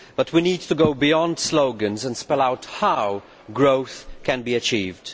But we need to go beyond slogans and spell out how growth can be achieved.